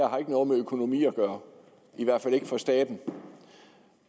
har noget med økonomi at gøre i hvert fald ikke for staten